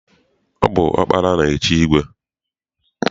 Ọ bụ ọkpara na-echi igwe.